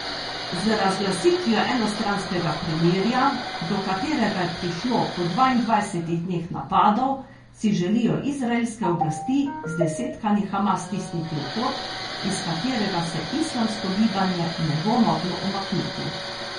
Z razglasitvijo enostranskega premirja, do katerega je prišlo po dvaindvajsetih dneh napadov, si želijo izraelske oblasti zdesetkani Hamas stisniti v kot, iz katerega se islamsko gibanje ne bo moglo umakniti.